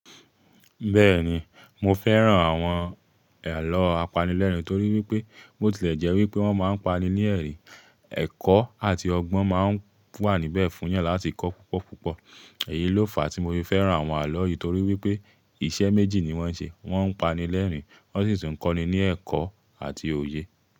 Bẹ́ẹ̀ni, mo fẹ́ràn àwọn àlọ́ apanilẹ́rìn torí wípé bo tilẹ̀ jẹ́ wípé wón máa ń pani ní ẹ̀rín, ẹ̀kọ́ àti ọgbọ́n máa ń wà níbẹ̀ fún yan láti kọ́ púpọ̀ púpọ̀. Èyí ló fàá tí mo fi fẹ́ràn àwọn àlọ́ yìí torí wípé iṣẹ́ méjì ni wón ń ṣe. Wón ń pani lẹ́rìn, wón sì ń kọ́ni ní ẹ̀kọ́ àti òye.